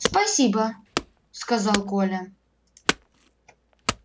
спасибо сказал коля